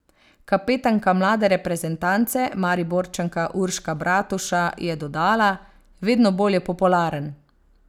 Kapetanka mlade reprezentance, Mariborčanka Urška Bratuša, je dodala: 'Vedno bolj je popularen.